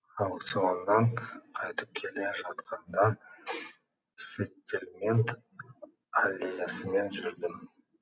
аукционнан қайтып келе жатқанда сеттельмент аллеясымен жүрдім